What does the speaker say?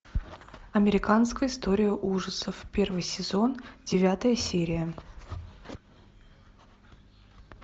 американская история ужасов первый сезон девятая серия